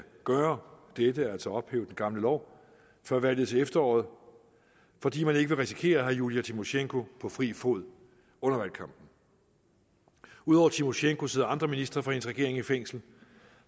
gøre dette altså ophæve den gamle lov før valget til efteråret fordi man ikke vil risikere at have julija tymosjenko på fri fod under valgkampen ud over tymosjenko sidder andre ministre fra hendes regering i fængsel